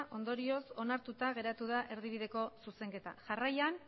ondorioz onartuta geratu da erdibideko zuzenketa jarraian